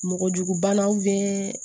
Mɔgɔjugubanaw